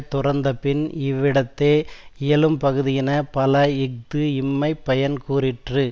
துறந்தபின் இவ்விடத்தே யியலும்பகுதியின பல இஃது இம்மைப் பயன் கூறிற்று